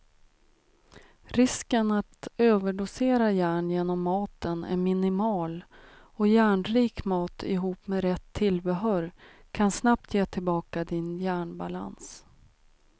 Risken att överdosera järn genom maten är minimal och järnrik mat ihop med rätt tillbehör kan snabbt ge tillbaka din järnbalans.